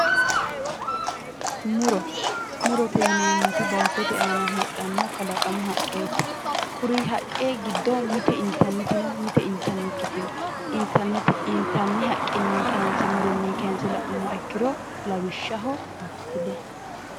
Muro murote yinemoti baatote aana heedhanno kalaqamu haqqeeti kuri haqqe giddo mite intanniti no mite intanikkiti no intanni haqqenni muronni kayinse la'numoro lawishshsaho appile